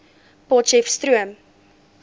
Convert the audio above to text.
potcheftsroom